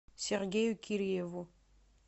сергею кирееву